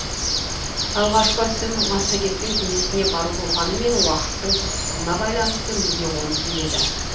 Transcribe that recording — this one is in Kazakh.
алғашқы ісім массагеттің кеңсесіне бару болғанымен уақыттың тығыздығына байланысты мүлде қолым тимеді